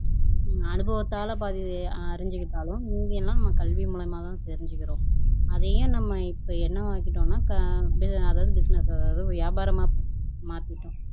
அனுபவத்தால பாதி அறிஞ்குகிட்டாலும் எல்லாம் நம்ம கல்வி மூலமா தான் தெரிஞ்சுக்கிறோம் அதே நம்ம இப்போ என்னவாக்கிட்டோம்னா க அதாவது பிசினஸ் அதாவது வியாபாரமா மாத்திட்டோம்